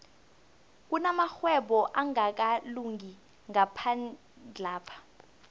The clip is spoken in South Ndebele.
kunamarhwebo angakalungi ngaphandlapha